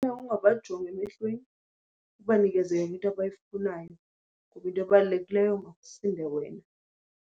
Ifuna ungabajongi emehlweni, ubanikeze yonke into abayifunayo kuba into ebalulekileyo makusinde wena.